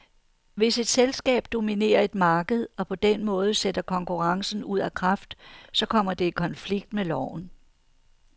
Hvis et selskab dominerer et marked og på den måde sætter konkurrencen ud af kraft, så kommer det i konflikt med loven.